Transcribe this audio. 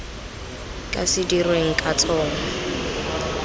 ka se dirweng ka tsona